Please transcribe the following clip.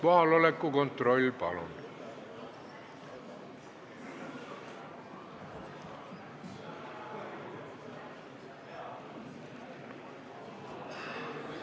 Kohaloleku kontroll, palun!